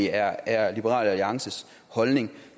er er liberal alliances holdning